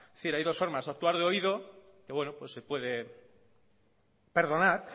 es decir hay dos formas actuar de oído se puede perdonar